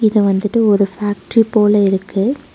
இது வந்துட்டு ஒரு ஃபேக்டரி போல இருக்கு.